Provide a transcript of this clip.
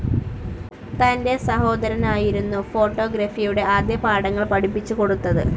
തന്റെ സഹോദരനായിരുന്നു ഫോട്ടോഗ്രഫിയുടെ ആദ്യപാഠങ്ങൾ പഠിപ്പിച്ചുകൊടുത്തത്.